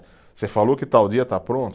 Você falou que tal dia está pronto?